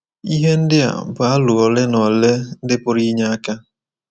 Ihe ndị a bụ aro ole na ole ndị pụrụ inye aka.